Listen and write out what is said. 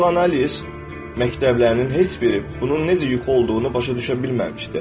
Psixoanaliz məktəblərinin heç biri bunun necə yuxu olduğunu başa düşə bilməmişdi.